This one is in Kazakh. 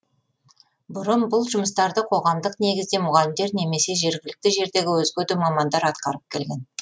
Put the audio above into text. бұрын бұл жұмыстарды қоғамдық негізде мұғалімдер немесе жергілікті жердегі өзге де мамандар атқарып келген